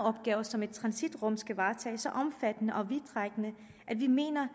opgaver som et transitrum skal varetage er så omfattende og vidtrækkende at vi mener